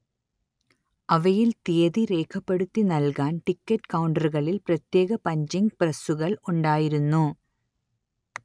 അവയിൽ തിയ്യതി രേഖപ്പെടുത്തി നൽകാൻ ടിക്കറ്റ് കൗണ്ടറുകളിൽ പ്രത്യേകം പഞ്ചിങ് പ്രസ്സുകൾ ഉണ്ടായിരുന്നു